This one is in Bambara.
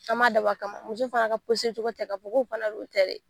An ma dabɔ a kama. Muso fana ka cogo tɛ, ka fɔ k'o fana don o tɛ dɛ!